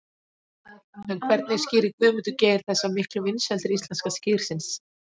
En hvernig skýrir Guðmundur Geir þessa miklu vinsældir íslenska skyrsins?